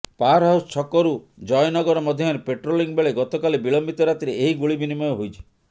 power house ଛକରୁ ଜୟନଗର ମଧ୍ୟରେ patrolling ବେଳେ ଗତକାଲି ବିଳମ୍ବିତ ରାତିରେ ଏହି ଗୁଳି ବିନିମୟ ହୋଇଛି